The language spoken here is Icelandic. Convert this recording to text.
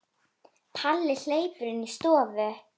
Palli hleypur inn í stofu.